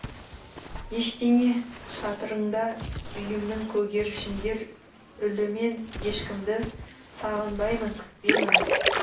ештеңе шатырында үйімнің көгершіндер мен ешкімді сағынбаймын күтпеймін